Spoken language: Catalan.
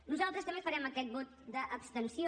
nosaltres també farem aquest vot d’abstenció